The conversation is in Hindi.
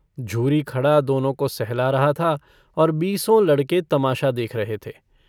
झूरी खड़ा दोनों को सहला रहा था और बीसों लड़के तमाशा देख रहे थे।